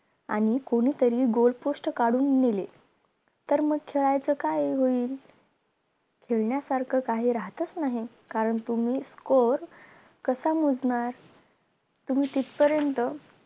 आणि कोणीतरी GOAL POST काढून नेले तर मग खेळायायच काय होईल खेळण्या सारखं काही राहतच नाही कारण तुम्ही score कसा मोजणार? तुम्ही तितपर्यंत